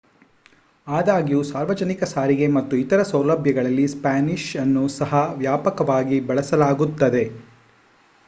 ಆದಾಗ್ಯೂ ಸಾರ್ವಜನಿಕ ಸಾರಿಗೆ ಮತ್ತು ಇತರ ಸೌಲಭ್ಯಗಳಲ್ಲಿ ಸ್ಪ್ಯಾನಿಷ್ ಅನ್ನು ಸಹ ವ್ಯಾಪಕವಾಗಿ ಬಳಸಲಾಗುತ್ತದೆ